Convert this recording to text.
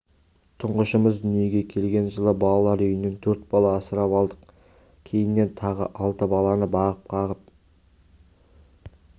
тұңғышымыз дүниеге келген жылы балалар үйінен төрт бала асырап алдық кейіннен тағы алты баланы бағып-қағым